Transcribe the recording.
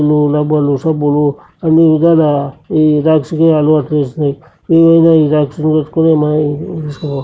Pen లు డబ్బులు సబ్బులు అన్నీ విధాలా ఈ రాక్స్ లు అలవాటు అయినయ్. ఇలోగా ఈ రాక్స్ లు --